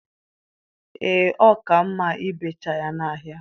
Ee, ọ ka mma ibecha ya n'ahịa.